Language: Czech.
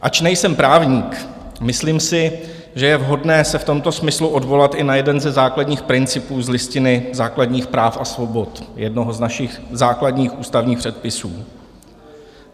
Ač nejsem právník, myslím si, že je vhodné se v tomto smyslu odvolat i na jeden ze základních principů z Listiny základních práv a svobod, jednoho z našich základních ústavních předpisů.